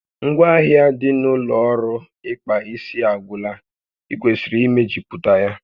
Ngwaahịa dị n'ụlọ ọrụ ịkpa isi a agwụla, ị kwesịrị imejuputa ya